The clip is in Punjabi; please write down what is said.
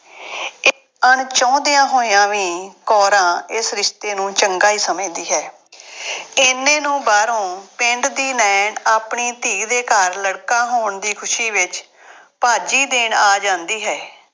ਅਣਚਾਹੁੰਦਿਆਂ ਹੋਇਆਂ ਵੀ ਕੌਰਾਂ ਇਸ ਰਿਸ਼ਤੇ ਨੂੰ ਚੰਗਾ ਹੀ ਸਮਝਦੀ ਹੈ। ਐਨੇ ਨੂੰ ਬਾਹਰੋਂ ਪਿੰਡ ਦੀ ਨਾਇਣ ਆਪਣੇ ਧੀ ਦੇ ਘਰ ਲੜਕਾ ਹੋਣ ਦੀ ਖੁਸ਼ੀ ਵਿੱਚ ਭਾਜੀ ਦੇਣ ਆ ਜਾਂਦੀ ਹੈ।